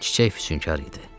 Çiçək füsünkar idi.